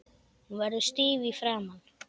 Hún verður stíf í framan.